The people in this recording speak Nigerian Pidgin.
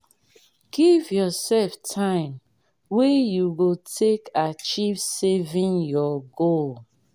give yourself time wey you go take achieve saving your goal